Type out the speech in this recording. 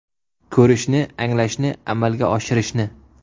Ko‘rishni, anglashni, amalga oshirishni!